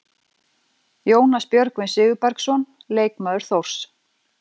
Jónas Björgvin Sigurbergsson, leikmaður Þórs.